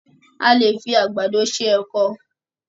a lẹ fí Àgbàdo ṣe èkó